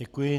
Děkuji.